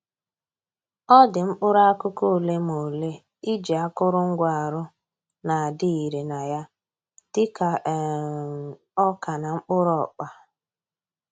Ọ dị mkpụrụ akụkụ ole ma ole iji akụrụngwa arụ na-adị ire na ya, dịka um ọka na mkpụrụ ọkpa